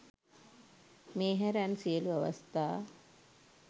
මේ හැර අන් සියලු අවස්ථා